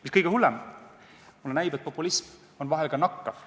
Mis kõige hullem, mulle näib, et populism on vahel nakkav.